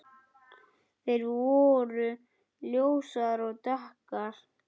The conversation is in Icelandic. Þær voru ljósar og dökkar.